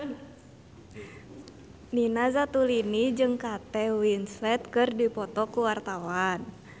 Nina Zatulini jeung Kate Winslet keur dipoto ku wartawan